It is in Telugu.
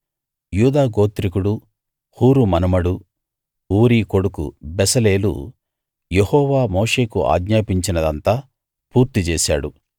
యూదా గోత్రికుడు హూరు మనుమడు ఊరీ కొడుకు బెసలేలు యెహోవా మోషేకు ఆజ్ఞాపించినదంతా పూర్తి చేశాడు